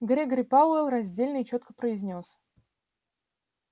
грегори пауэлл раздельно и чётко произнёс